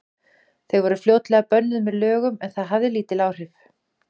Þau voru fljótlega bönnuð með lögum, en það hafði lítil áhrif.